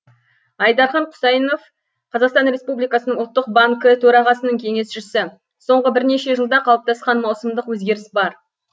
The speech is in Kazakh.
айдархан құсайынов қазақстан республикасының ұлттық банкі төрағасының кеңесшісі соңғы бірнеше жылда қалыптасқан маусымдық өзгеріс бар